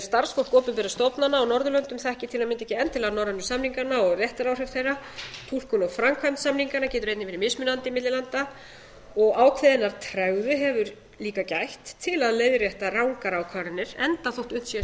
starfsfólk opinberra stofnana á norðurlöndum þekkir til að mynda ekki endilega norrænu samningana og réttaráhrif þeirra túlkun á framkvæmd samninganna getur einnig verið mismunandi milli landa og ákveðinnar tregðu hefur líka gætt til að leiðrétta rangar ákvarðanir enda þótt unnt sé að sýna